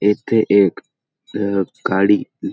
येथे एक अ गाडी --